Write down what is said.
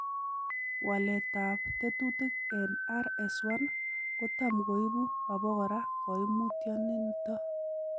waletab tekutik en RS1 kotamkoibu obokora koimutioniton.